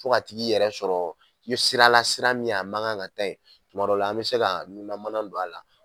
Fo ka tig'i yɛrɛ sɔrɔ sira la sira min a man kan ka taa ye tuma dɔ la an bɛ se ka nunna mana don a la.